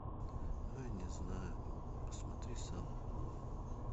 ну не знаю посмотри сам